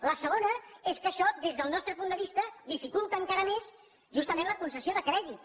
la segona és que això des del nostre punt de vista dificulta encara més justament la concessió de crèdit